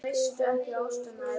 Guðfríður, viltu hoppa með mér?